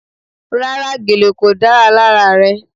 Rárá, gèlè kò dára lára rẹ.